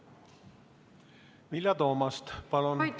Vilja Toomast, palun!